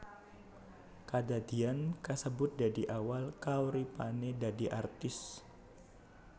Kadadian kasebut dadi awal kauripané dadi artis